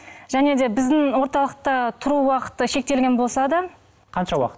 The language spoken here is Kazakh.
және де біздің орталықта тұру уақыты шектелген болса да қанша уақыт